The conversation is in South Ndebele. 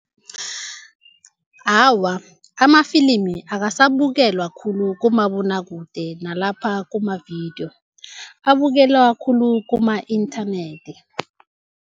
Awa, amafilimi akasabukelwa khulu kumabonwakude, nalapha kuma-video. Abukelwa khulu kuma-inthanethi.